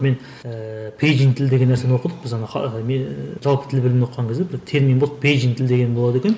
мен ііі пейджинг тілі деген нәрсені оқыдық біз ана жалпы тіл білімін оқыған кезде бір термин болды пейджинг тіл деген болады екен